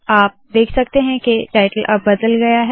आप देख सकते है के टाइटल अब बदल गया है